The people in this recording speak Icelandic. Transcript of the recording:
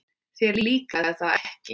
Þér líkaði það ekki vel.